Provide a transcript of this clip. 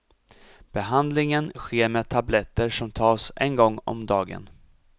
Behandlingen sker med tabletter som tas en gång om dagen.